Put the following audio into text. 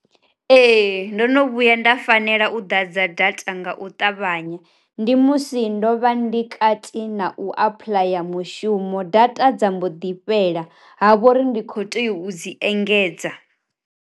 Ee ndo no vhuya nda fanela u ḓa dza data nga u ṱavhanya, ndi musi ndo vha ndi kati na u apuḽaya mushumo data dza mbo ḓi fhela ha vhori ndi kho tea u dzi engedza.